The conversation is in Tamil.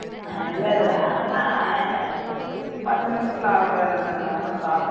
இல்ல இல்ல அதெல்லாம் பத்து நிமிஷத்துல ஆகுர வேலை தானே அதெல்லாம்